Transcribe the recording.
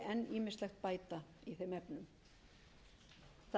ýmislegt bæta í þeim efnum það